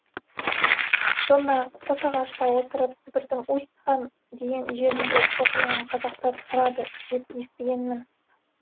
сонда қосағашта отырып сібірдің усть кан деген жерінде шоқынған қазақтар тұрады деп естігенмін